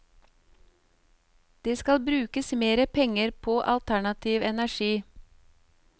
Det skal brukes mer penger på alternativ energi.